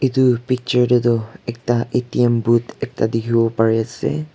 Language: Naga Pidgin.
etu picture ti tu ekta A_T_M booth ekta tekibo bari ase.